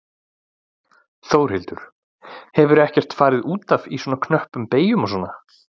Þórhildur: Hefurðu ekkert farið út af í svona knöppum beygjum og svona?